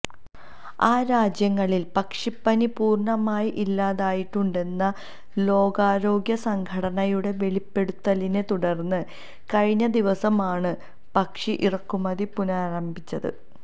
ആ രാജ്യങ്ങളില് പക്ഷിപ്പനി പൂര്ണമായി ഇല്ലാതായിട്ടുണ്ടെന്ന ലോകാരോഗ്യസംഘടനയുടെ വെളിപ്പെടുത്തലിനെ തുടര്ന്ന് കഴിഞ്ഞദിവസമാണ് പക്ഷി ഇറക്കുമതി പുനരാരംഭിച്ചത്